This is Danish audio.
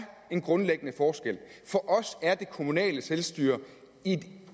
en grundlæggende forskel for os er det kommunale selvstyre et